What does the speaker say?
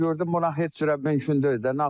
Gördüm buna heç cürə mümkün deyil də.